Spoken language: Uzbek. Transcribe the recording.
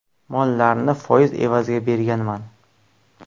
Mollarni foiz evaziga berganman.